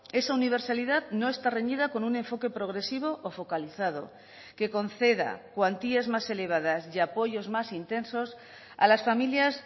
esa universalidad no está reñida con un enfoque progresivo o focalizado que conceda cuantías más elevadas y apoyos más intensos a las familias